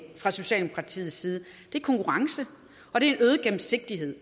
fra socialdemokratiets side er konkurrence og en øget gennemsigtighed